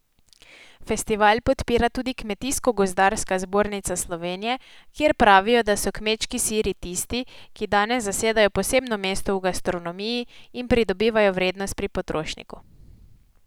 Festival podpira tudi Kmetijsko gozdarska zbornica Slovenije, kjer pravijo, da so kmečki siri tisti, ki danes zasedajo posebno mesto v gastronomiji in pridobivajo vrednost pri potrošniku.